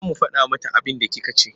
Za mu faɗa mata abinda kika ce.